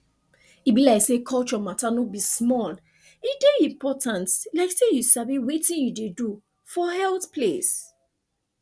e be like say culture matter no be small e dey important like say you sabi wetin you dey do for health place